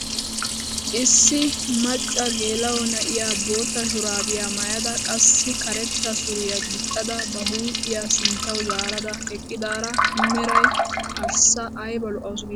Issi macca geela'o na'iyaa bootta shuraabiyaa maayada qassi karetta suriyaa gixxada ba huuphphiyaa sinttawu zaarada eqqidaara meray arssa ayba lo"awus giidetii!